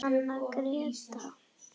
Anna Gréta.